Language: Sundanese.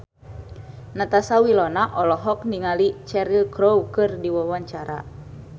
Natasha Wilona olohok ningali Cheryl Crow keur diwawancara